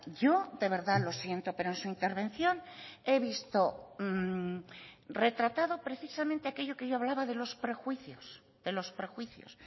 yo de verdad lo siento pero en su intervención he visto retratado precisamente aquello que yo hablaba de los prejuicios de los prejuicios